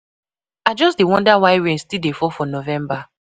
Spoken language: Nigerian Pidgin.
I just dey wonder why rain still dey fall for November.